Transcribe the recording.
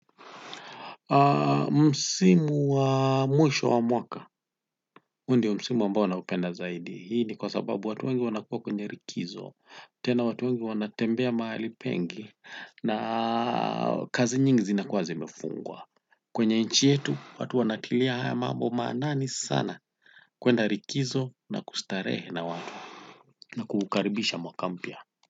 Msimu wa mwisho wa mwaka huu ndio msimu ambao naupenda zaidi. Hii ni kwa sababu watu wengi wanakuwa kwenye likizo. Tena watu wengi wanatembea mahali pengi na kazi nyingi zinakuwa zimefungwa. Kwenye nchi yetu watu wanatilia haya mambo maanani sana kwenda likizo na kustarehe na watu na kuukaribisha mwaka mpya.